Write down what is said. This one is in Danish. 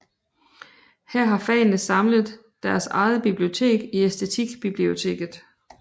Her har fagene samlet deres eget bibliotek i Æstetikbiblioteket